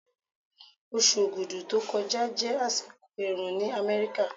Oṣù Ogudu tó kọjá jẹ́ àsìkò ẹ̀rùn ní Amẹ́ríkà.